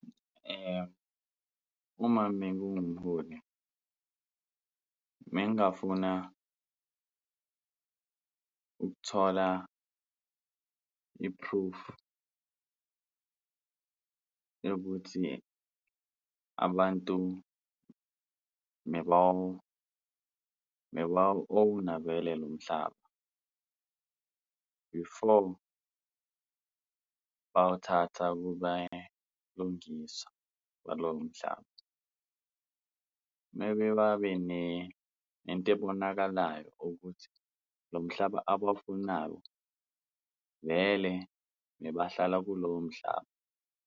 Uma mengiwumholi bengingafuna ukuthola i-proof yokuthi abantu bebawu-own-a vele lo mhlaba before bawuthatha ukuba lungisa, balowo mhlaba, mebe babe nento ebonakalayo ukuthi lo mhlaba abawufunayo vele bebahlala kulowo mhlaba.